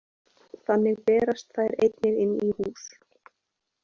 Þannig berast þær einnig inn í hús.